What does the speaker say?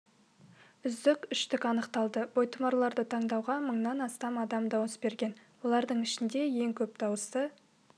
үздік үштік анықталды бойтұмарларды таңдауға мыңнан астам адам дауыс берген олардың ішінде ең көп дауысты